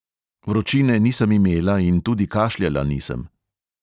Vročine nisem imela in tudi kašljala nisem.